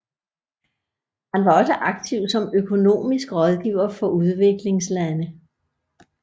Han var også aktiv som økonomisk rådgiver for udviklingslande